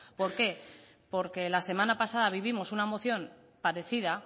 por qué porque la semana pasada vivimos una moción parecida